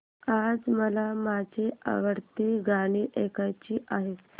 आज मला माझी आवडती गाणी ऐकायची आहेत